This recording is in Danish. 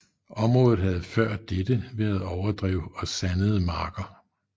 Området havde før dette været overdrev og sandede marker